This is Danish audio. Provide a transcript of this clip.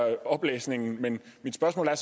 oplæsningen men mit spørgsmål er